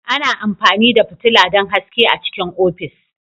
Ana amfani da fitila don haske a cikin ofis.